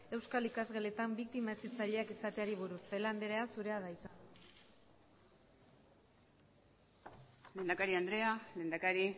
euskal ikasgeletan biktima hezitzaileak izateari buruz celaá andrea zurea da hitza lehendakari andrea lehendakari